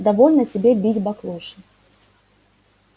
довольно тебе бить баклуши